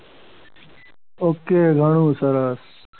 okay ઘણું સરસ.